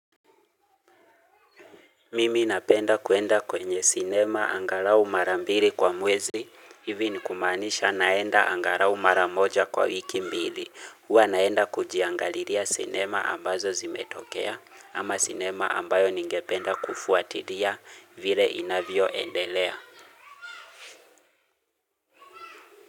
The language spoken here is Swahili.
Mimi napenda kuenda kwenye sinema angalau mara mbili kwa mwezi, hivi ni kumaanisha naenda angalau mara moja kwa wiki mbili. Huwa naenda kujiangalilia sinema ambazo zimetokea ama sinema ambayo ningependa kufuatilia vile inavyoendelea.